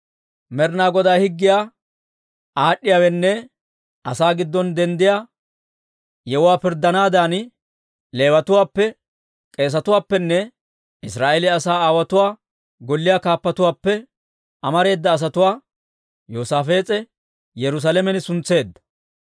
Med'inaa Godaa higgiyaa aad'd'iyaawaanne asaa giddon denddiyaa yewuwaa pirddanaadan Leewatuwaappe, k'eesetuwaappenne Israa'eeliyaa asaa aawotuwaa golliyaa kaappatuwaappe amareeda asatuwaa Yoosaafees'e Yerusaalamen suntseedda.